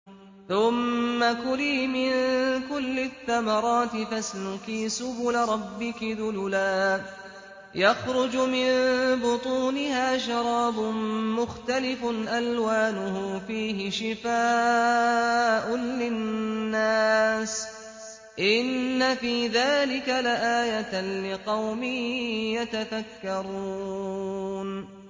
ثُمَّ كُلِي مِن كُلِّ الثَّمَرَاتِ فَاسْلُكِي سُبُلَ رَبِّكِ ذُلُلًا ۚ يَخْرُجُ مِن بُطُونِهَا شَرَابٌ مُّخْتَلِفٌ أَلْوَانُهُ فِيهِ شِفَاءٌ لِّلنَّاسِ ۗ إِنَّ فِي ذَٰلِكَ لَآيَةً لِّقَوْمٍ يَتَفَكَّرُونَ